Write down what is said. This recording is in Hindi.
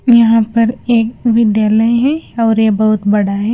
यहां पर एक विद्यालय है और ये बहुत बड़ा है।